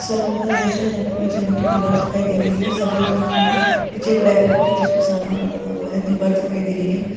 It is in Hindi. सलून का दृश्य है जहां पर रंग की दीवार दिखाई दे रही है सफेद रंग की है पीछे एक रैक राखी है जिसपर सामान रखा हुआ है दीवार दिखाई दे रही है।